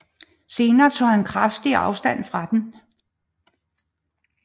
Senere tog han kraftigt afstand fra den